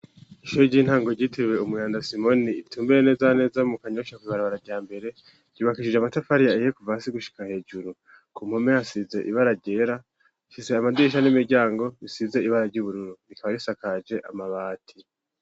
Ishoe ry'intango ryitiriwe umuyanda simoni itumbuye nezaneza mu kanyosha kuibarabara rya mbere yubakishije amatafariya eye ku va si gushika hejuru ku mpome hasize ibara ryera shise amadisha n'imiryango risize ibara ry'ubururu rikaba risakaje amabati.